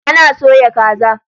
Ana soya kaza.